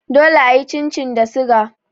Dole a yi chin chin da suga.